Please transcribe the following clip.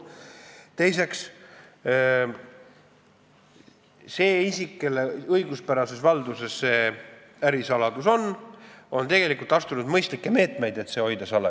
Teiseks, see isik, kelle õiguspärases valduses see ärisaladus on, on tegelikult võtnud mõistlikke meetmeid, et seda salajas hoida.